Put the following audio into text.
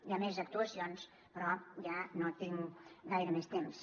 hi ha més actuacions però ja no tinc gaire més temps